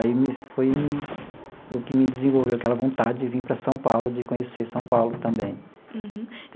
Aí me foi o que me desenvolveu aquela vontade de vim para São Paulo, de conhecer São Paulo também. Uhum.